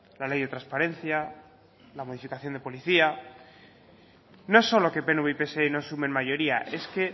la ley de transparencia la modificación de policía no es solo que pnv y pse no sumen mayoría es que